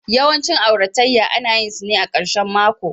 Yawancin auratayya ana yin su ne a ƙarshen mako